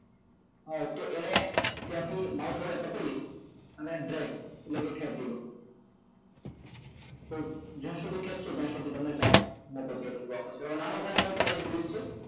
તો એને ત્યાંથી mouse વડે પકડી અને ડ્રેગ એટલે કે ખેચી લો તો જ્યાં સુધી ખેચશો ત્યાં સુધી તમને chart મોટો થયેલો જોવા મળશે હવે નાનો કરવો હોય તો એ જ રીત છે